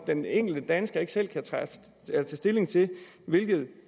den enkelte dansker ikke selv kan tage stilling til hvilket